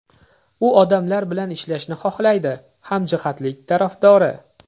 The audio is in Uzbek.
U odamlar bilan ishlashni xohlaydi, hamjihatlik tarafdori.